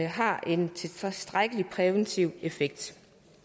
har en tilstrækkelig præventiv effekt